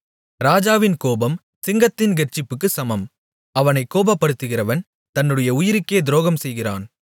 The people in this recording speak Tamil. ராஜாவின் கோபம் சிங்கத்தின் கெர்ச்சிப்புக்குச் சமம் அவனைக் கோபப்படுத்துகிறவன் தன்னுடைய உயிருக்கே துரோகம்செய்கிறான்